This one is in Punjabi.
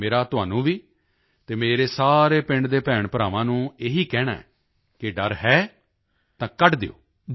ਮੇਰਾ ਤੁਹਾਨੂੰ ਵੀ ਅਤੇ ਮੇਰੇ ਸਾਰੇ ਪਿੰਡ ਦੇ ਭੈਣਭਰਾਵਾਂ ਨੂੰ ਇਹੀ ਕਹਿਣਾ ਹੈ ਕਿ ਡਰ ਹੈ ਤਾਂ ਕੱਢ ਦਿਓ